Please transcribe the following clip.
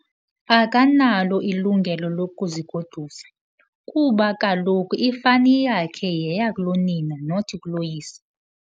Akanalo ilungelo lokuzigodusa kuba kaloku ifani yakhe yeyakulonina not kuloyise.